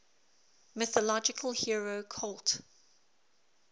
mythological hero cult